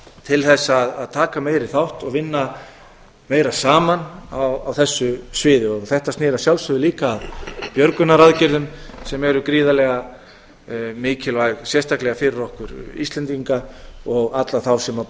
til þess að taka meiri þátt og vinna meira saman á þessu sviði þetta sneri að sjálfsögðu líka að björgunaraðgerðum sem eru gríðarlega mikilvæg sérstaklega fyrir okkur íslendinga og alla þá sem